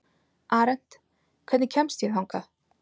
Arent, hvernig kemst ég þangað?